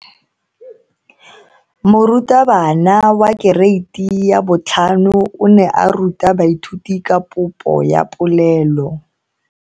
Moratabana wa kereiti ya 5 o ne a ruta baithuti ka popo ya polelo.